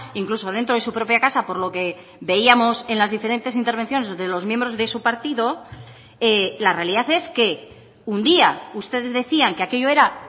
incluso dentro de su propia casa por lo que veíamos en las diferentes intervenciones de los miembros de su partido la realidad es que un día ustedes decían que aquello era